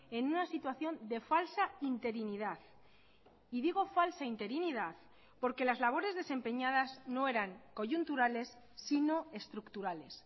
en una situación de falsa interinidad y digo falsa interinidad porque las labores desempeñadas no eran coyunturales sino estructurales